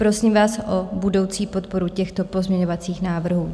Prosím vás o budoucí podporu těchto pozměňovacích návrhů.